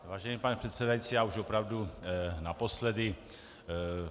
Vážený pane předsedající, já už opravdu naposledy.